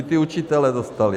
I ti učitelé dostali.